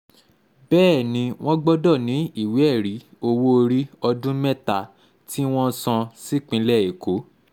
bẹ́ẹ̀ ni wọ́n gbọ́dọ̀ ní ìwé-ẹ̀rí owó-orí ọdún mẹ́ta tí wọ́n ti san sípínlẹ̀ èkó